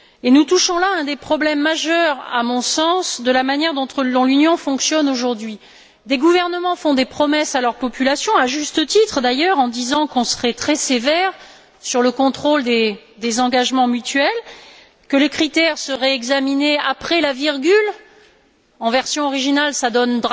Nous touchons là un des problèmes majeurs, à mon sens, de la manière dont l'Union fonctionne aujourd'hui. Des gouvernements font des promesses à leur population, à juste titre d'ailleurs, en disant qu'on serait très sévère sur le contrôle des engagements mutuels, que les critères seraient examinés après la virgule en version originale, cela donne